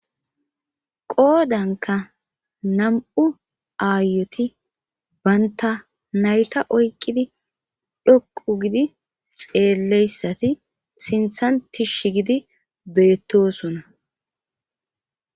Qoodanka nam'u aayeti banta nayta oykidi dhoqu gidi xeelleyssati sinthan tishsh gidi beettosona